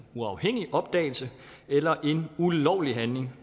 uafhængig opdagelse eller en ulovlig handling